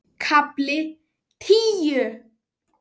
KAFLI TÍU